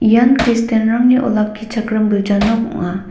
ian kristianrangni olakkichakram gilja nok ong·a.